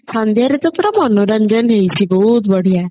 ସନ୍ଧ୍ଯା ରେ ତ ପୁରା ମନୋରଞ୍ଜନ ହେଇଛି ପୁରା ବହୁତ ବଢିଆ